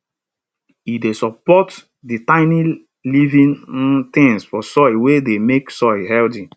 e dey support di tiny living um things for soil wey dey make soil healthy